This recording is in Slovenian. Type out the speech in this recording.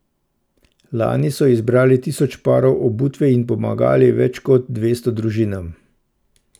Lani so zbrali tisoč parov obutve in pomagali več kot dvesto družinam.